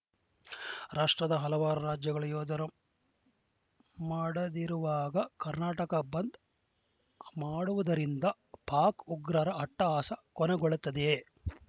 ರಾಷ್ಟ್ರದ ಹಲವಾರು ರಾಜ್ಯಗಳ ಯೋಧರು ಮಾಡದಿರುವಾಗ ಕರ್ನಾಟಕ ಬಂದ್‌ ಮಾಡುವುದರಿಂದ ಪಾಕ್‌ ಉಗ್ರರ ಅಟ್ಟಹಾಸ ಕೊನೆಗೊಳ್ಳುತ್ತದೆಯೇ